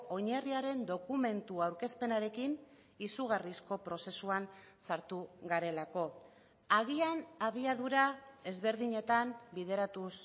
oinarriaren dokumentu aurkezpenarekin izugarrizko prozesuan sartu garelako agian abiadura ezberdinetan bideratuz